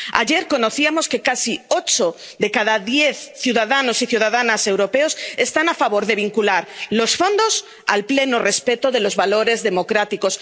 Ayer conocíamos que casi ocho de cada diez ciudadanos y ciudadanas europeos están a favor de vincular los fondos al pleno respeto de los valores democráticos.